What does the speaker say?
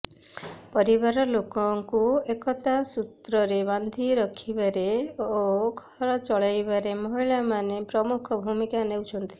ପରିବାର ଲୋକଙ୍କୁ ଏକତା ସୂତ୍ରରେ ବାନ୍ଧି ରଖିବାରେ ଓ ଘର ଚଳାଇବାରେ ମହିଳାମାନେ ପ୍ରମୁଖ ଭୂମିକା ନେଉଛନ୍ତି